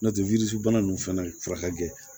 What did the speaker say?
N'o tɛ wili bana nun fɛnɛ furakɛ